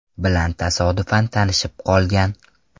bilan tasodifan tanishib qolgan.